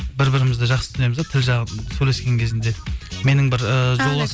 бір бірімізді жақсы түсінеміз де тіл жағын сөйлескен кезінде менің бір ііі жолдас